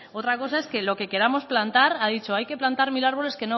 otra cosa es lo que queramos plantar ha dicho hay que plantar mil árboles